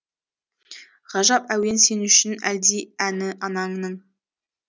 ғажап әуен сен үшін әлди әні ананың